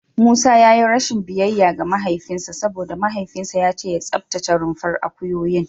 Musa ya yi rashin biyayya ga mahaifinsa saboda mahaifinsa ya ce ya tsaftace rumfar akuyoyin.